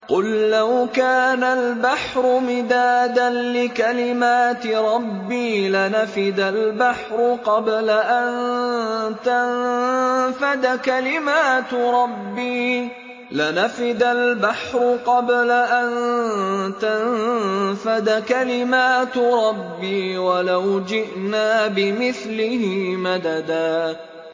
قُل لَّوْ كَانَ الْبَحْرُ مِدَادًا لِّكَلِمَاتِ رَبِّي لَنَفِدَ الْبَحْرُ قَبْلَ أَن تَنفَدَ كَلِمَاتُ رَبِّي وَلَوْ جِئْنَا بِمِثْلِهِ مَدَدًا